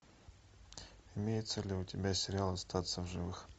имеется ли у тебя сериал остаться в живых